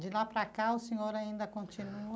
De lá para cá, o senhor ainda continua?